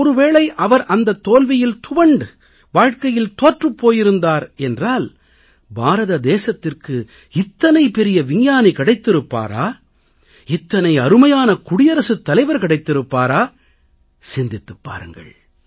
ஒருவேளை அவர் அந்தத் தோல்வியில் துவண்டு வாழ்க்கையில் தோற்றுப் போயிருந்தார் என்றால் பாரத தேசத்திற்கு இவ்வளவு பெரிய விஞ்ஞானி கிடைத்திருப்பாரா இவ்வளவு அருமையான குடியரசுத் தலைவர் கிடைத்திருப்பாரா என்று சிந்தித்துப் பாருங்கள்